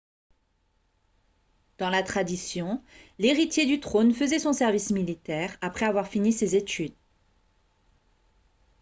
dans la tradition l'héritier du trône faisait son service militaire après avoir fini ses études